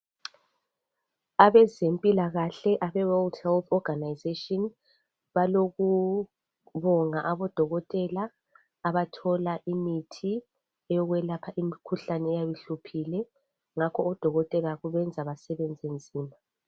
Abezempila kahle abeworld health ogarnisation balokubonga abodokotela abathola imithi eyokwelapha imikhuhlane eyabe ihluphile ngakho odokotela kubenza basebenze nzima